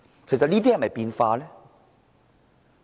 其實這些是否變化呢？